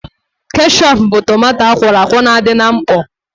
Keshọp bụ tomanto akwọrọ akwọ na-adị na mkpọ